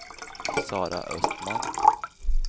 Sara Östman